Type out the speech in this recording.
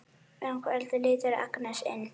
Um kvöldið lítur Agnes inn.